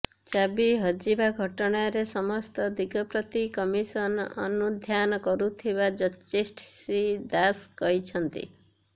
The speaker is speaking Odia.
ଚାବି ହଜିବା ଘଟଣାରେ ସମସ୍ତ ଦିଗପ୍ରତି କମିସନ ଅନୁଧ୍ୟାନ କରୁଥିବା ଜଷ୍ଟିସ୍ ଶ୍ରୀ ଦାଶ କହିଛନ୍ତି